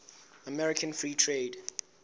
american free trade